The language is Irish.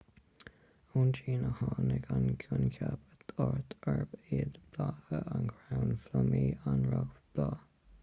ón tsín a tháinig an coincheap áit arb iad blátha an chrainn phlumaí an roghbhláth